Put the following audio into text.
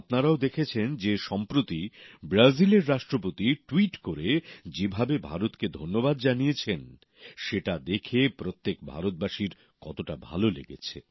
আপনারাও দেখেছেন যে সম্প্রতি ব্রাজিলের রাষ্ট্রপতি ট্যুইট করে যেভাবে ভারতকে ধন্যবাদ জানিয়েছেন সেটা দেখে প্রত্যেক ভারতবাসীর কতটা ভালো লেগেছে